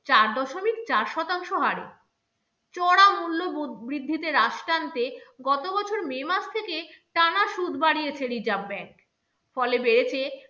চার দশমিক চার শতাংশ হারে। চড়া মূল্য বৃদ্ধিতে রাশি টানতে গত বছর may মাস থেকে টানা সুদ বাড়িয়েছে reserve bank ফলে বেড়েছে